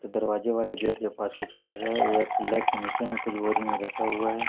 दरवाजे वाले गेट के पास कुछ कर रहा है उधर पिलर के नीचे में कुछ बोरी में रखा हुआ है।